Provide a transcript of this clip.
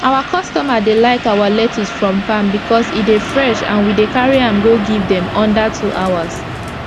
our customer dey like our lecttuce from farm becos e dey fresh and we dey carry am go give dem under two hours